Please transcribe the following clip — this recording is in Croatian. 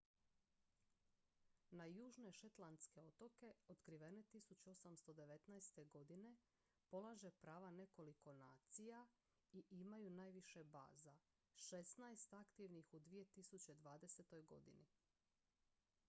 na južne shetlandske otoke otkrivene 1819. godine polaže prava nekoliko nacija i imaju najviše baza šestnaest aktivnih u 2020. godini